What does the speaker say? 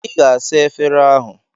Ị ga-asa efere ahụ.